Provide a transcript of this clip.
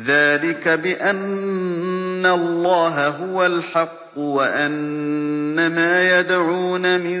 ذَٰلِكَ بِأَنَّ اللَّهَ هُوَ الْحَقُّ وَأَنَّ مَا يَدْعُونَ مِن